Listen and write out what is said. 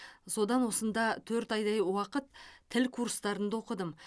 содан осында төрт айдай уақыт тіл курстарында оқыдым